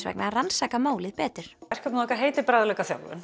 vegna rannsaka málið betur verkefnið okkar heitir